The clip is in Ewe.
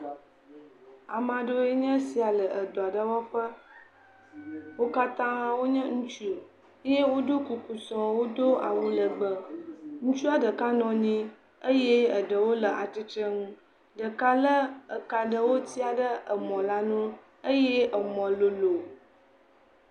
Ame aɖewo nye esia le edɔ aɖe wɔƒe. Wo katã wonye ŋutsu eye woɖo kuku sɔŋ wodo awu legbe. Ŋutsua ɖeka nɔ anyi eye ɖeka le atsitre nu. Ɖeka le eka aɖewo tsia ɖe emɔ la nu eye emɔ lolo.